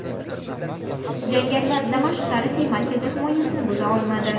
Jangarilar Damashq tarixiy markazi himoyasini buza olmadi.